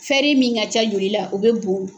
min ka ca joli la u bɛ bɔn.